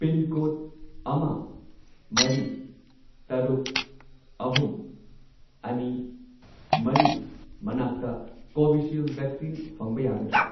Pincode ꯑꯃ, ꯃꯔꯤ, ꯇꯔꯨꯛ, ꯑꯍꯨꯝ, ꯑꯅꯤ, ꯃꯔꯤ ꯃꯅꯥꯛꯇ ꯀꯣꯚꯤꯁꯤꯜꯗ ꯚꯦꯛꯁꯤꯟ ꯐꯪꯕ ꯌꯥꯒꯗ꯭ꯔꯥ?